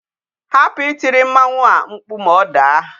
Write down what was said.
Hapu itiri mmanwu a mkpu ma o daa!